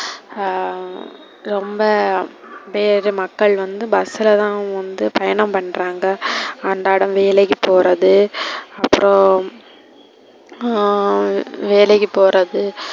ஆஹ் ரொம்ப பேரு மக்கள் வந்து bus ல தான் வந்து பயணம் பண்றாங்க அன்றாடம் வேலைக்கு போறது. அப்றம் ஹம் வேலைக்கு போறது,